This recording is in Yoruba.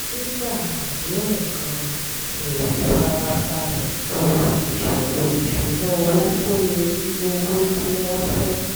nígbà àdéhùn gan-an hèrì fara balẹ̀ bo ìṣòro ìṣúnná owó kó lè rí owó tí wọ́n fẹ́